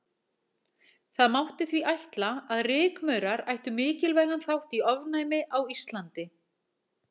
Það mátti því ætla að rykmaurar ættu mikilvægan þátt í ofnæmi á Íslandi.